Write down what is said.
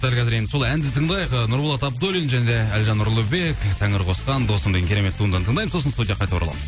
дәл қазір енді сол әнді тыңдайық ы нұрболат абудиллин және де әлжан нұрлыбек тәңір қосқан досым деген керемет туындыны тыңдаймыз сосын студияға қайта ораламыз